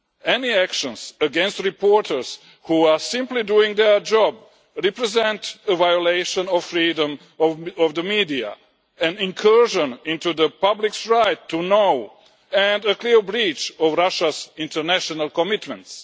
Any actions against reporters who are simply doing their job represent a violation of freedom of the media, an incursion into the public's right to know, and a clear breach of Russia's international commitments.